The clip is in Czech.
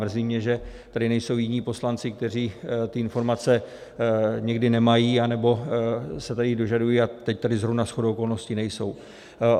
Mrzí mě, že tady nejsou jiní poslanci, kteří ty informace někdy nemají, anebo se tady dožadují, a teď tady zrovna shodou okolností nejsou.